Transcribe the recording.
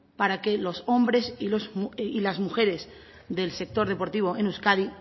para que los hombres y las mujeres del sector deportivo en euskadi